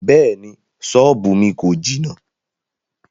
Bẹ́ẹ̀ni, sọ́ọ́bù mi kò jìnà.